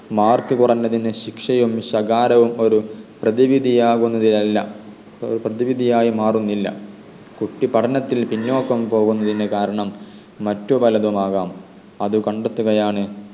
mark കുറഞ്ഞതിന് ശിക്ഷയും ശകാരവും ഒരു പ്രതിവിധിയാകുന്നതിൽ അല്ല പ്രതിവിധിയായിമാറുന്നില്ല കുട്ടി പഠനത്തിൽ പിന്നോക്കം പോകുന്നതിന് കാരണം മറ്റു പലതുമാകാം അത് കണ്ടെത്തുകയാണ്